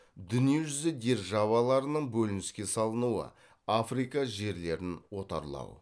дүние жүзі державаларының бөлініске салынуы африка жерлерін отарлау